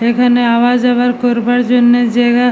এখানে আওয়া যাওয়ার করবার জন্য জায়গা--